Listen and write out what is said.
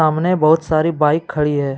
बहुत सारी बाइक खड़ी है।